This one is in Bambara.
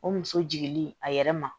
O muso jiginni a yɛrɛ ma